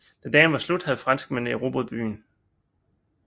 Da dagen var slut havde franskmændene erobret byen